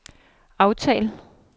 aftal